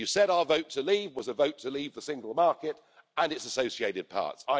You said our vote to leave was a vote to leave the single market and its associated parts.